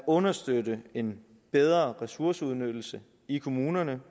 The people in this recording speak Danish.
understøtter en bedre ressourceudnyttelse i kommunerne